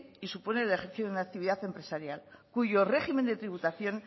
y suponen el ejercicio de una actividad empresarial cuyo régimen de tributación